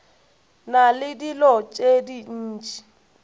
na le dilo tše dintši